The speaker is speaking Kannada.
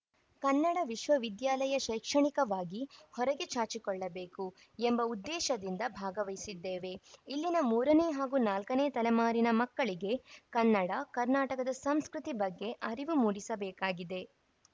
ಕನ್ನಡ ವಿಶ್ವವಿದ್ಯಾಲಯ ಶೈಕ್ಷಣಿಕವಾಗಿ ಹೊರಗೆ ಚಾಚಿಕೊಳ್ಳಬೇಕು ಎಂಬ ಉದ್ದೇಶದಿಂದ ಭಾಗವಹಿಸಿದ್ದೇವೆ ಇಲ್ಲಿನ ಮೂರ ನೇ ಹಾಗೂ ನಾಲ್ಕು ನೇ ತಲೆಮಾರಿನ ಮಕ್ಕಳಿಗೆ ಕನ್ನಡ ಕರ್ನಾಟಕದ ಸಂಸ್ಕೃತಿ ಬಗ್ಗೆ ಅರಿವು ಮೂಡಿಸಬೇಕಾಗಿದೆ